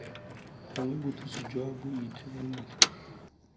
gongwe bothusi jwa boitekanelo fela